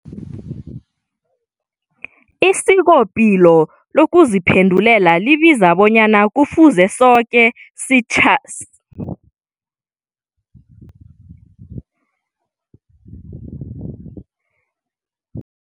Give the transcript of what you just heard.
Isikopilo lokuziphendulela libiza bonyana kufuze soke sitjhayele ngokuphepha nangokuhlonipha amalungelo wabakhamba ngeenyawo nabanye abasebenzisi beendlela. Isikopilo lokuziphendulela litjho bonyana kufuze abobaba babe yingcenye ekulu epilweni yabentababo.